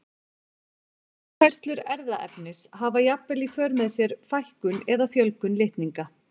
Yfirfærslur erfðaefnis hafa jafnvel í för með sér fækkun eða fjölgun litninga.